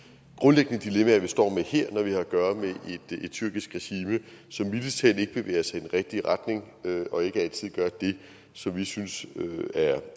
grundlæggende dilemmaer vi står med her når vi har at gøre med et tyrkisk regime som mildest talt ikke bevæger sig i den rigtige retning og ikke altid gør det som vi synes